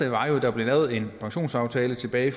at der blev lavet en pensionsaftale tilbage i